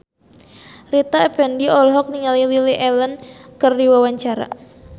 Rita Effendy olohok ningali Lily Allen keur diwawancara